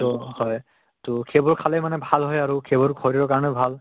তʼ হয় । তʼ সেইবোৰ খালে মানে ভাল হয় আৰু সেইবোৰ শৰীৰৰ কাৰিণেও ভাল